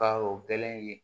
Ka o kɛlɛn in ye